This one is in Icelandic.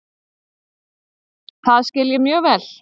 Það skil ég mjög vel.